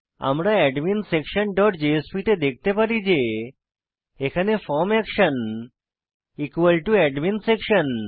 আমরা adminsectionজেএসপি তে দেখতে পারি যে এখানে ফর্ম অ্যাকশন অ্যাডমিনসেকশন